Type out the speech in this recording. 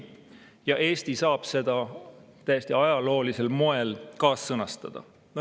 Ja Eesti saab seda täiesti ajaloolisel moel kaassõnastada.